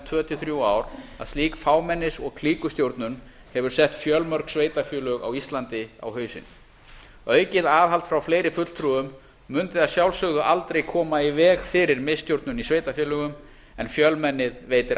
tvö til þrjú ár að slík fámennis og klíkustjórnun hefur sett fjölmörg sveitarfélög á íslandi á hausinn aukið aðhald frá fleiri fulltrúum mundi að sjálfsögðu aldrei koma í veg fyrir miðstjórnun í sveitarfélögum en fjölmennið veitir aðhald